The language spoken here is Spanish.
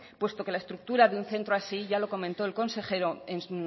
puesto que la estructura de un centro así ya lo comentó el consejero en